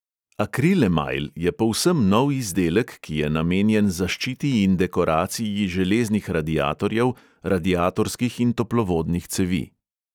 Akril emajl je povsem nov izdelek, ki je namenjen zaščiti in dekoraciji železnih radiatorjev, radiatorskih in toplovodnih cevi.